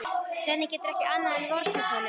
Svenni getur ekki annað en vorkennt honum.